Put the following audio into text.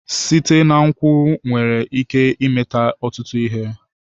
Site na nkwụ nwere ike ime ọtụtụ ihe.